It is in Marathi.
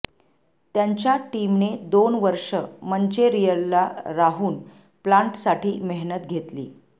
त्यांच्या टीमने दोन वर्षे मंचेरिअलला राहून प्लाण्टसाठी मेहनत घेतली